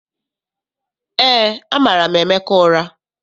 EÉ, amara m Emeka ụra.